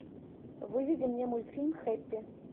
выведи мне мультфильм хэппи